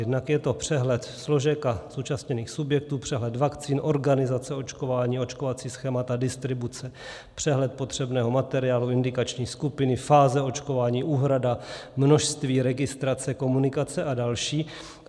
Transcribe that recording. Jednak je to přehled složek a zúčastněných subjektů, přehled vakcín, organizace očkování, očkovací schémata, distribuce, přehled potřebného materiálu, indikační skupiny, fáze očkování, úhrada, množství, registrace, komunikace a další.